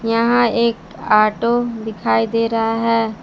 यहां एक ऑटो दिखाई दे रहा है।